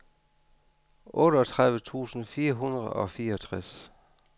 otteogtredive tusind fire hundrede og fireogtres